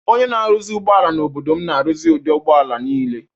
Onye na-arụzi ụgbọala n’obodo m na-arụzi ụdị ụgbọ ala niile.